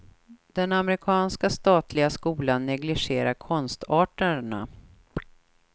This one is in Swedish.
Den amerikanska statliga skolan negligerar konstarterna.